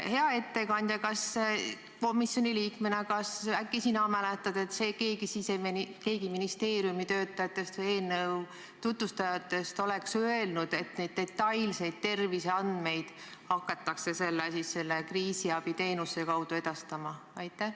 Hea ettekandja, kas sina komisjoni liikmena mäletad, et keegi ministeeriumi töötajatest või eelnõu tutvustajatest oleks öelnud, et selle kriisiabiteenuse kaudu hakatakse edastama detailseid terviseandmeid?